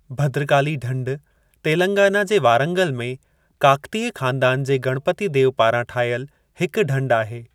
भद्रकाली ढंढ तेलंगाना जे वारंगल में काकतीय ख़ानदानु जे गणपति देव पारां ठाहियलु हिकु ढंढ आहे।